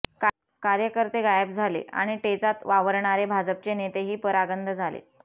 कार्यकर्ते गायब झाले आणि टेचात वावरणारे भाजपचे नेतेही परागंद झाले